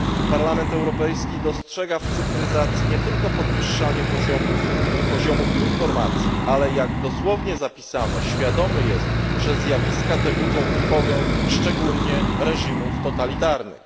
Parlament Europejski dostrzega w cyfryzacji nie tylko podwyższanie poziomów informacji, ale jak dosłownie zapisano, świadomy jest, że zjawiska te budzą trwogę szczególnie reżimów totalitarnych.